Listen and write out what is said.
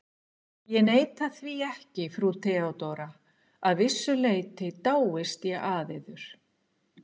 Ég neita því ekki, frú Theodóra: að vissu leyti dáist ég að yður.